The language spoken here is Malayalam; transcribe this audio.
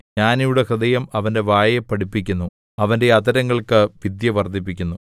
ജ്ഞാനിയുടെ ഹൃദയം അവന്റെ വായെ പഠിപ്പിക്കുന്നു അവന്റെ അധരങ്ങൾക്ക് വിദ്യ വർദ്ധിപ്പിക്കുന്നു